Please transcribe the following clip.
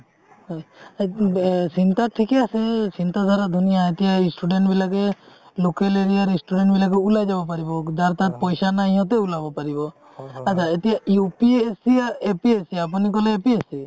হয় like চিন্তা থিকে আছে চিন্তা ধাৰা ধুনীয়া এতিয়া student বিলাকে local area ৰ student বিলাকে উলাই যাব পাৰিব যাৰ তাৰ পইচা নাই সিহতে উলাব পাৰিব আত্চা এতিয়া UPSC APSC আপুনি কলে APSC